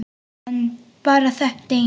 En bara þetta eina sinn.